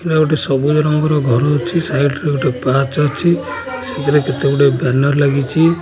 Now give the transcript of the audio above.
ଏହା ଗୋଟେ ସବୁଜ ରଙ୍ଗର ଘର ଅଛି ସାଇଟ ରେ ଗୋଟେ ପାହାଚ ଅଛି ସେଥିରେ କେତେଗୁଡ଼େ ବ୍ୟାନର ଲାଗିଚି।